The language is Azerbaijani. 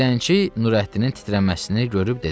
Dilənçi Nurəddinin titrəməsini görüb dedi: